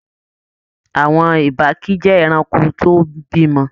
Àwọn ìbàkí jẹ ẹranko tó n b'imọ.